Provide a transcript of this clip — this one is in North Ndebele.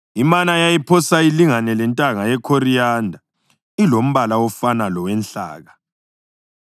Imana yayiphose ilingane lentanga yekhoriyanda ilombala ofana lowenhlaka.